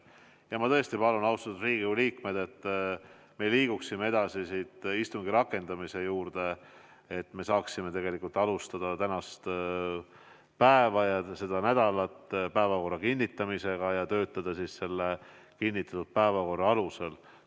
Ja ma tõesti palun, austatud Riigikogu liikmed, et me liiguksime edasi istungi rakendamise juurde, et me saaksime alustada tänast päeva ja seda nädalat päevakorra kinnitamisega ja töötada siis selle kinnitatud päevakorra alusel.